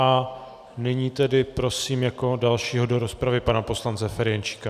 A nyní tedy prosím jako dalšího do rozpravy, pana poslance Ferjenčíka.